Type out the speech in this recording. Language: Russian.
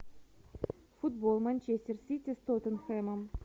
футбол манчестер сити с тоттенхэмом